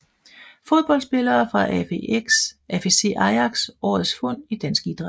Fodboldspillere fra AFC Ajax Årets fund i dansk idræt